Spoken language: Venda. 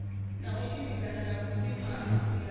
na u tshimbidzana na vhusimamilayo